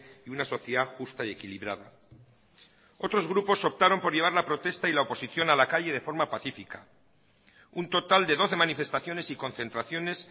y una sociedad justa y equilibrada otros grupos optaron por llevar la protesta y la oposición a la calle de forma pacífica un total de doce manifestaciones y concentraciones